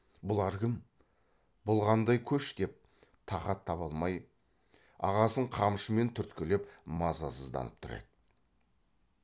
бұлар кім бұл қандай көш деп тақат таба алмай ағасын қамшымен түрткілеп мазасызданып тұр еді